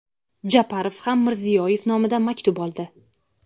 Japarov ham Mirziyoyev nomidan maktub oldi.